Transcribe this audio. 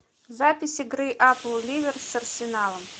запись игры апл ливер с арсеналом